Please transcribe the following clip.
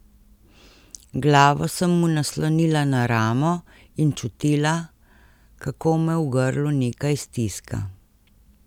Glavo sem mu naslonila na ramo in čutila, kako me v grlu nekaj stiska.